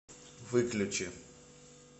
выключи